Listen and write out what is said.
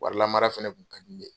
Warilamara fɛnɛ tun kadi ne.